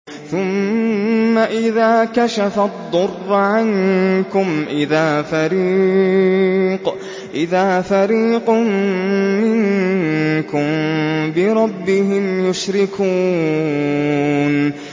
ثُمَّ إِذَا كَشَفَ الضُّرَّ عَنكُمْ إِذَا فَرِيقٌ مِّنكُم بِرَبِّهِمْ يُشْرِكُونَ